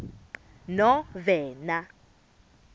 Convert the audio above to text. novena